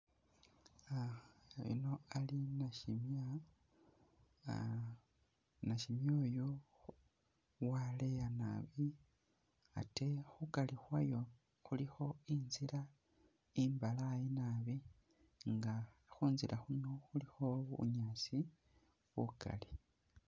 Ah oyuno ali nashimya, ah nashimya oyu waleya nabi ate khukari khwayo khulikho inzila imbalaayi nabi nga khunzila khuno khulikho bunyaasi bukali.